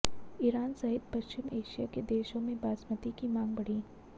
Iran सहित पश्चिम Asia के देशों में बासमती की मांग बढ़ी